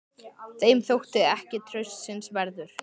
Þeim þótti ég ekki traustsins verður.